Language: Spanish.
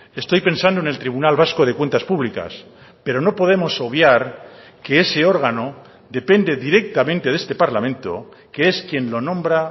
estoy pensando en el tribunal vasco de cuentas públicas pero no podemos obviar que ese órgano depende directamente de este parlamento que es quien lo nombra